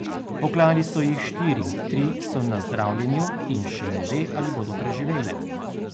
Poklali so jih štiri, tri so na zdravljenju in še ne ve, ali bodo preživele.